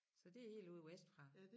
Så det helt ude vestfra